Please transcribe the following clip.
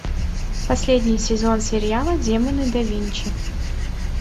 последний сезон сериала демоны да винчи